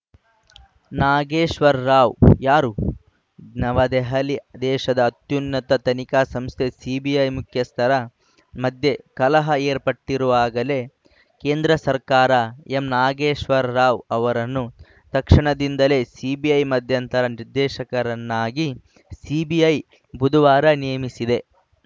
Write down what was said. ನಾಗೇಶ್ವರ್‌ ರಾವ್‌ ಯಾರು ನವದೆಹಲಿ ದೇಶದ ಅತ್ಯುನ್ನತ ತನಿಖಾ ಸಂಸ್ಥೆ ಸಿಬಿಐ ಮುಖ್ಯಸ್ಥರ ಮಧ್ಯೆ ಕಲಹ ಏರ್ಪಟ್ಟಿರುವಾಗಲೇ ಕೇಂದ್ರ ಸರ್ಕಾರ ಎಂ ನಾಗೇಶ್ವರ್‌ ರಾವ್‌ ಅವರನ್ನು ತಕ್ಷಣದಿಂದಲೇ ಸಿಬಿಐ ಮಧ್ಯಂತರ ನಿರ್ದೇಶಕರನ್ನಾಗಿ ಸಿಬಿಐ ಬುಧವಾರ ನೇಮಿಸಿದೆ